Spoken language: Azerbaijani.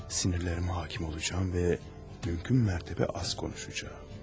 Sinirlərimə hakim olacağım və mümkün mərtəbə az danışacağam.